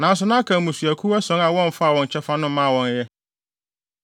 Nanso na aka mmusuakuw ason a wɔmfaa wɔn kyɛfa no mmaa wɔn ɛ.